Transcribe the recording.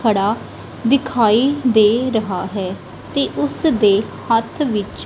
ਖੜਾ ਦਿਖਾਈ ਦੇ ਰਿਹਾ ਹੈ ਤੇ ਉਸ ਦੇ ਹੱਥ ਵਿੱਚ।